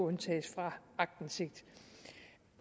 undtages fra aktindsigt